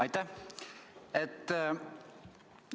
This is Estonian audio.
Aitäh!